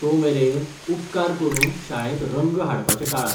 तोमेरेन, उपकार करून शाळेंत रंग हाडपाचें टाळात.